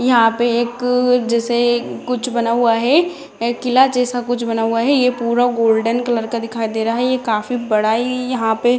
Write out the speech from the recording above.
यहाँ पर एक जैसे कुछ बना हुआ है किला जैसे कुछ बना हुआ है ये पूरा गोल्डन कलर का दिखाई दे रहा है यह काफी बड़ा इ यहाँ पे |